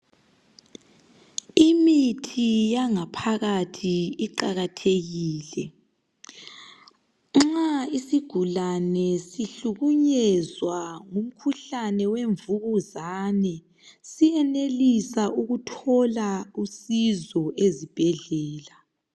imithi yangaphakathi iqakathekile nxa isigulane sihlukunyezwa ngumkhuhlane wemvukuzane siyenelisa ukuthola usizo ezibhedlela